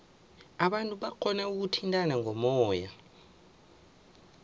abantu barhona ukuthintana ngomoya